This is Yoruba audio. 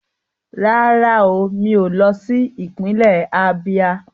Rárá o, mi ò lọ sí ìpínlẹ̀ Ábíá